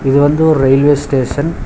இது வந்து ஒரு ரயில்வே ஸ்டேஷன் .